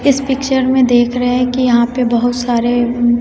इस पिक्चर में देख रहे है कि यहां पे बहुत सारे--